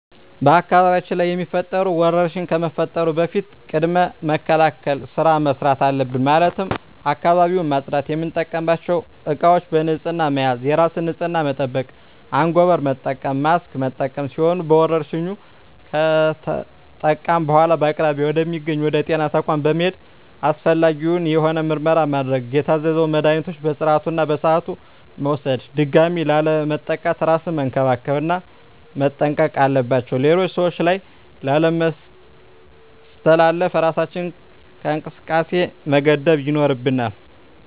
በአካባቢያችን ላይ የሚፈጠሩ ወረርሽኝ ከመፈጠሩ በፊት ቅድመ መከላከል ስራ መስራት አለብን ማለትም አካባቢውን ማፅዳት፣ የምንጠቀምባቸው እቃዎች በንህፅና መያዝ፣ የራስን ንፅህና መጠበቅ፣ አንጎበር መጠቀም፣ ማስክ መጠቀም ሲሆኑ በወረርሽኙ ከተጠቃን በኃላ በአቅራቢያ ወደ ሚገኝ ወደ ጤና ተቋም በመሔድ አስፈላጊውን የሆነ ምርመራ ማድረግ የታዘዘውን መድሀኒቶች በስርዓቱ እና በሰዓቱ መውሰድ ድጋሚ ላለመጠቃት እራስን መንከባከብ እና መጠንቀቅ አለባቸው ሌሎች ሰዎች ላይ ላለማስተላለፍ እራሳችንን ከእንቅስቃሴ መገደብ ይኖርብናል።